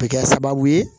A bɛ kɛ sababu ye